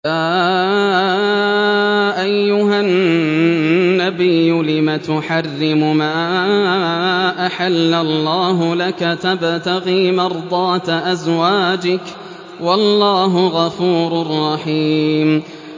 يَا أَيُّهَا النَّبِيُّ لِمَ تُحَرِّمُ مَا أَحَلَّ اللَّهُ لَكَ ۖ تَبْتَغِي مَرْضَاتَ أَزْوَاجِكَ ۚ وَاللَّهُ غَفُورٌ رَّحِيمٌ